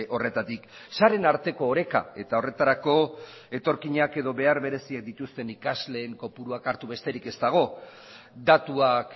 horretatik sareen arteko oreka eta horretarako etorkinak edo behar bereziak dituzten ikasleen kopuruak hartu besterik ez dago datuak